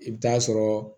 I bɛ taa sɔrɔ